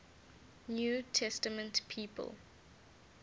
new testament people